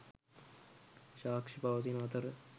සාක්‍ෂි පවතින අතර